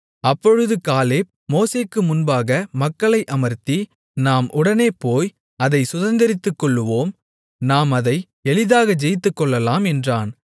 அப்பொழுது காலேப் மோசேக்கு முன்பாக மக்களை அமர்த்தி நாம் உடனே போய் அதைச் சுதந்தரித்துக்கொள்ளுவோம் நாம் அதை எளிதாக ஜெயித்துக்கொள்ளலாம் என்றான்